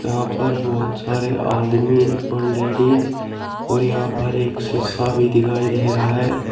यहां पर बहुत सारे आदमी व लेडीज और यहां पे एक शीशा भी दिखाई दे रहा हैं।